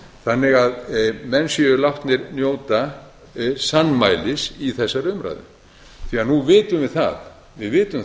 þannig að menn séu látnir njóta sannmælis í þessari umræðu því að nú vitum við